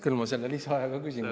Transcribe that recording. Küll ma selle lisaaja ka küsin.